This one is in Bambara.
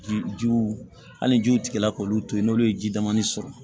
Jijiw hali jiw tigɛla k'olu to yen n'olu ye ji damani sɔrɔ